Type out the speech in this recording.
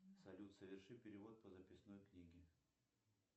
салют соверши перевод по записной книге